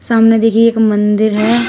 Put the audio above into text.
सामने देखिये एक मंदिर है।